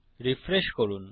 refresh করুন